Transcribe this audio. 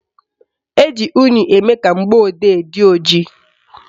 Eji unyi eme ka mgbọodee dị ojii